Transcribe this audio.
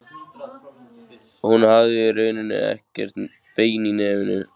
Hún hafði í rauninni ekkert bein í nefinu.